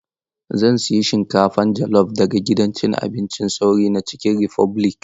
Zan sayi shinkafa jelof daga gidan abincin sauri na Cikin Rifobilik.